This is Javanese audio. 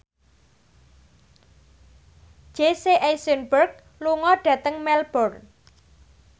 Jesse Eisenberg lunga dhateng Melbourne